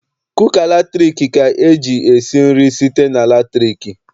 Kuka latriki ka eji esi nri site na latriki.